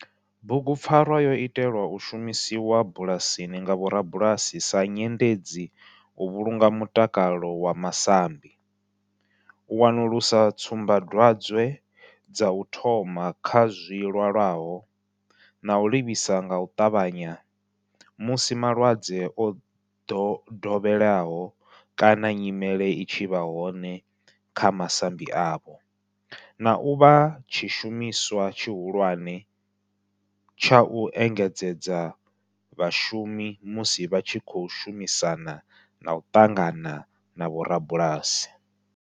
Bugupfarwa yo itelwa u shumiswa bulasini nga vhorabulasi sa nyendedzi u vhulunga mutakalo wa masambi, u wanulusa tsumbadwadzwe dza u thoma kha zwilwalaho na u livhisa nga u tavhanya musi malwadze o dovheleaho kana nyimele i tshi vha hone kha masambi avho, na u vha tshishumiswa tshihulwane tsha u engedzedza vhashumi musi vha tshi khou shumisana na u ṱangana na vhorabulasi.